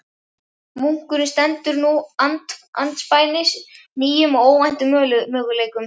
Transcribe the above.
Munkurinn stendur nú andspænis nýjum og óvæntum möguleikum.